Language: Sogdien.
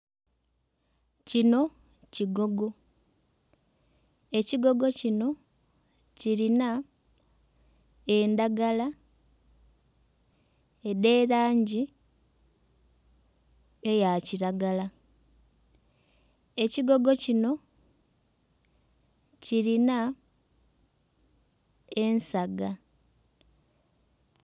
Kino kigogo, ekigogo kino kirina endhagala edh'erangi eya kiragala kigogo kino kirina ensaga.